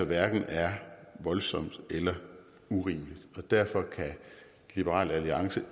hverken er voldsomt eller urimeligt derfor kan liberal alliance